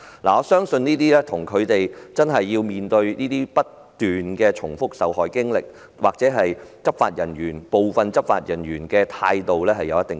我相信這跟他們須面對不斷複述受害經歷或部分執法人員態度欠佳有關。